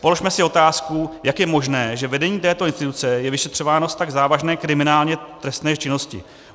Položme si otázku, jak je možné, že vedení této instituce je vyšetřováno v tak závažné kriminálně trestné činnosti.